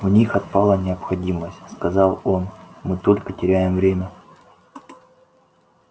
в них отпала необходимость сказал он мы только теряем время